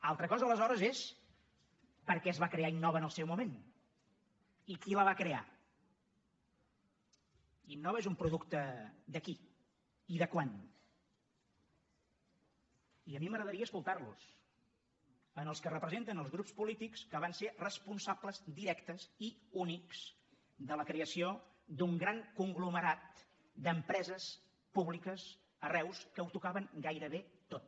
altra cosa aleshores és per què es va crear innova en el seu moment i qui la va crear innova és un producte de qui i de quan i a mi m’agradaria escoltar los en els que representen els grups polítics que van ser responsables directes i únics de la creació d’un gran conglomerat d’empreses públiques a reus que ho tocaven gairebé tot